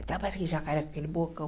Então parece aquele jacaré com aquele bocão.